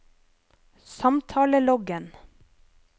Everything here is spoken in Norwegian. samtaleloggen